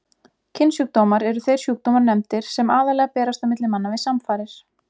Kynsjúkdómar eru þeir sjúkdómar nefndir sem aðallega berast á milli manna við samfarir.